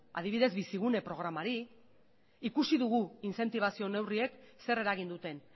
adibidez bizigune programari ikusi dugu inzentibazio neurriek zer eragin duten